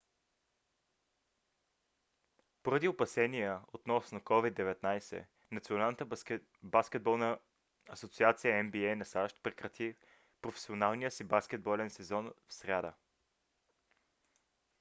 поради опасения относно covid-19 националната баскетболна асоциация нба на сащ прекрати професионалния си баскетболен сезон в сряда